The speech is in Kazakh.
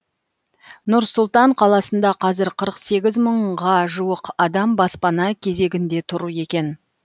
нұр сұлтан қаласында қазір қырық сегіз мыңға жуық адам баспана кезегінде тұр екен